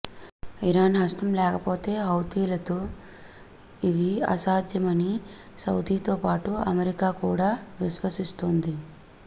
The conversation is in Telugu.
ఇరాన్ హస్తం లేకపోతే హౌతీలకు ఇది అసాధ్యమని సౌదీతోపాటు అమెరికా కూడా విశ్వసిస్తోంది